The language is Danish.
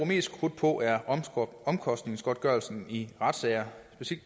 mest krudt på er omkostningsgodtgørelsen i retssager